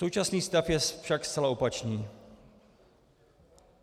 Současný stav je však zcela opačný.